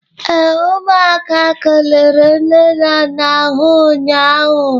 ee, umuaka kelere nne na nna ha ụnyahụ